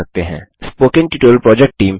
spoken tutorial project team